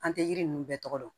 An tɛ yiri ninnu bɛɛ tɔgɔ dɔn